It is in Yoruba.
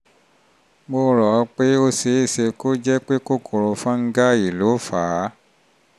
mo rò ó pé ó ṣe é ṣe kó jẹ́ pé kòkòrò fọ́nńgáì ló fà á